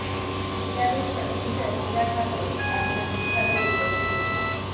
यावेळी पत्नी शर्मिला ठाकरे आणि अमित ठाकरे उपस्थित होते